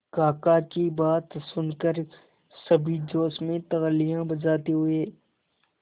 काका की बात सुनकर सभी जोश में तालियां बजाते हुए